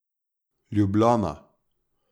Ljubljana.